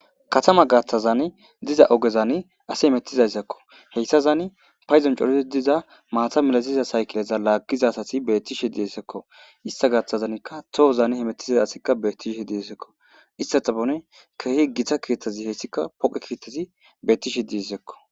Katama gathazan pace mela ogey dizaysako he keetaza gidon hametisa saykileza lagiza asati betishe de'esiko hesa gathazinaka tohon hamutiza ASi betishe de'es hesata guyera kehi gita keethay dizaysi betishe de'esko